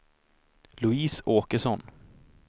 Louise Åkesson